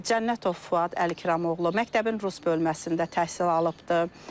Cənnətov Fuad Əlikramoğlu məktəbin rus bölməsində təhsil alıbdır.